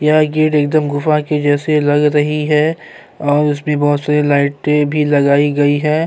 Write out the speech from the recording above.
یا یہ رینگ دم گفہ کی جیسے لگ رہی ہے، اوراسمے بہت سارے لیٹن بھی لگیی گیی ہے،